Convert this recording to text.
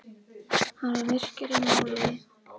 Hann var myrkur í máli.